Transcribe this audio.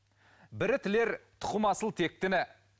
бірі тілер тұқымы асыл тектіні